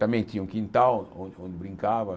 Também tinha um quintal onde onde brincava.